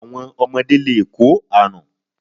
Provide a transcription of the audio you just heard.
Àwọn ọmọde lè kó àrún